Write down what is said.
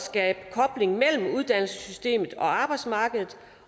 skabe kobling mellem uddannelsessystemet og arbejdsmarkedet